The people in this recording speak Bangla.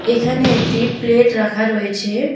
এখানে একটি প্লেট রাখা রয়েছে।